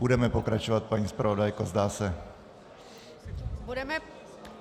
Budeme pokračovat, paní zpravodajko, zdá se.